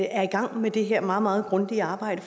er i gang med det her meget meget grundige arbejde